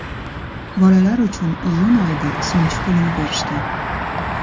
Bolalar uchun iyun oyida suyunchi pulini berishgan.